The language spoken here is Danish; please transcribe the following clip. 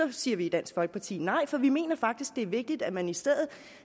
det siger vi i dansk folkeparti nej for vi mener faktisk det er vigtigt at man i stedet